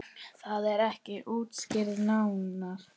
Það er ekki útskýrt nánar.